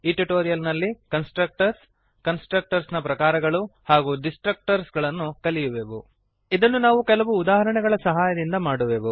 ಈ ಟ್ಯುಟೋರಿಯಲ್ ನಲ್ಲಿ constructors constructors ನ ಪ್ರಕಾರಗಳು ಹಾಗೂ ಡಿಸ್ಟ್ರಕ್ಟರ್ಸ್ ಗಳನ್ನು ನಾವು ಕಲಿಯುವೆವು ಇದನ್ನು ನಾವು ಕೆಲವು ಉದಾಹರಣೆಗಳ ಸಹಾಯದಿಂದ ಮಾಡುವೆವು